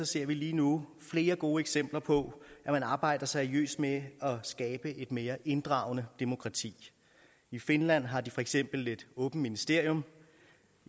ser vi lige nu flere gode eksempler på at man arbejder seriøst med at skabe et mere inddragende demokrati i finland har de for eksempel et åbent ministerium